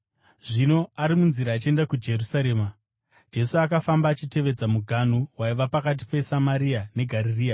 Zvino ari munzira achienda kuJerusarema, Jesu akafamba achitevedza muganhu waiva pakati peSamaria neGarirea.